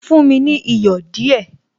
Fún mi ní iyọ̀ díẹ̀